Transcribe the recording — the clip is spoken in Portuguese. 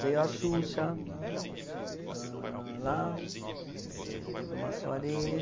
Veio a Xuxa, uhum, ahn, lá e teve uma soirée.